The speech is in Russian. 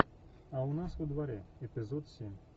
а у нас во дворе эпизод семь